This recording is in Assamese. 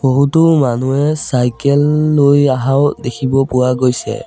বহুতো মানুহে চাইকেল লৈ আহাও দেখিব পোৱা গৈছে।